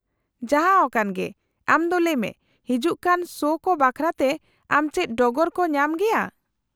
-ᱡᱟᱦᱟᱸᱣᱟᱠᱟᱱ ᱜᱮ , ᱟᱢ ᱫᱚ ᱞᱟᱹᱭ ᱢᱮ , ᱦᱤᱡᱩᱜ ᱠᱟᱱ ᱥᱳ ᱠᱚ ᱵᱟᱠᱷᱨᱟᱛᱮ ᱟᱢ ᱪᱮᱫ ᱰᱚᱜᱚᱨ ᱠᱚ ᱧᱟᱢ ᱜᱮᱭᱟ ?